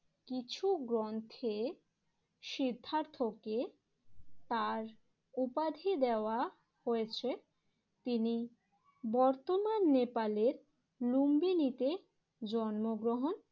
কিছু গ্রন্থে সিদ্ধার্থকে তার উপাধি দেওয়া হয়েছে। তিনি বর্তমান নেপালের লুম্বিনিতে জন্মগ্রহণ